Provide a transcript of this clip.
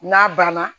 N'a banna